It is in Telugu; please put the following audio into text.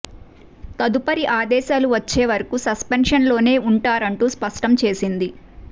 తదుపరి ఆదేశాలు వచ్చే వరకు సస్పెన్షన్ లోనే ఉంటారంటూ స్పష్టం చేసింది